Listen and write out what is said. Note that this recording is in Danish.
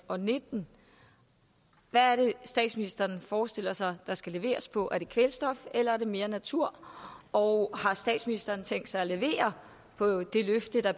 og nitten hvad er det statsministeren forestiller sig der skal leveres på er det kvælstof eller er det mere natur og har statsministeren tænkt sig at levere på det løfte der